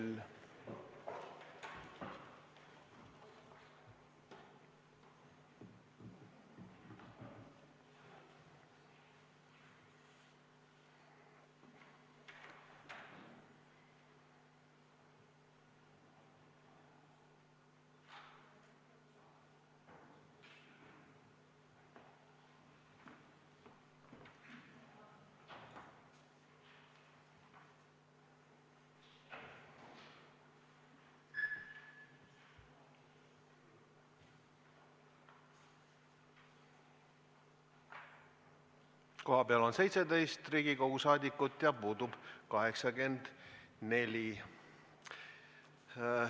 Kohaloleku kontroll Kohal on 17 Riigikogu liiget, puudub 84.